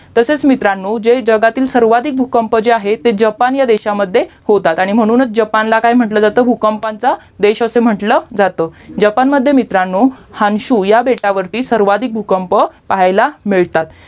तसेच मित्रांनो जे जगातील सर्वाधिक भूकंप जे आहेत ते जपान ह्या देशामध्ये होतात आणि म्हणूनच जपानला काय म्हंटलं जातं भूकंपाचा देश असं म्हंटलं जातं जपानमध्ये मित्रांनो हानशू या बेटावरती सर्वाधिक भूकंप पाहायाला मिळतात